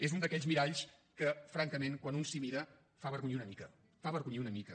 és un d’aquells miralls que francament quan un s’hi mira fa avergonyir una mica fa avergonyir una mica